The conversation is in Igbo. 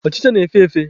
Ọchịcha na-efe efe.